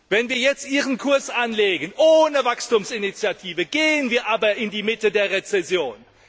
Wenn wir jetzt Ihren Kurs anlegen ohne Wachstumsinitiative gehen wir aber in die Mitte der Rezession.